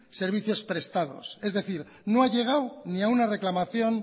servicios prestados es decir no ha llegado ni a una reclamación